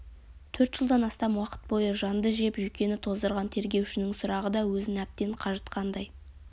төрт жылдан астам уақыт бойы жанды жеп жүйкені тоздырған тергеушінің сұрағы да өзін әбден қажытқандай